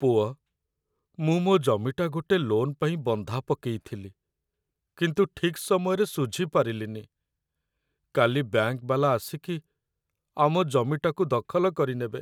ପୁଅ, ମୁଁ ମୋ' ଜମିଟା ଗୋଟେ ଲୋନ୍ ପାଇଁ ବନ୍ଧା ପକେଇଥିଲି, କିନ୍ତୁ ଠିକ୍ ସମୟରେ ଶୁଝିପାରିଲିନି । କାଲି ବ୍ୟାଙ୍କ୍‌ ବାଲା ଆସିକି ଆମ ଜମିଟାକୁ ଦଖଲ କରିନେବେ ।